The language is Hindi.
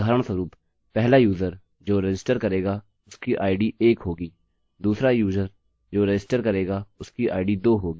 अतः उदाहरणस्वरूप पहला यूजर जो रजिस्टर करेगा उसकी id एक होगी दूसरा यूजर जो रजिस्टर करेगा उसकी id दो होगी इसी क्रम से आगे